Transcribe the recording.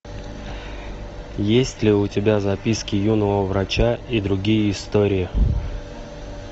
есть ли у тебя записки юного врача и другие истории